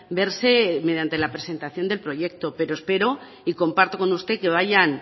verse mediante la presentación del proyecto pero espero y comparto con usted que vayan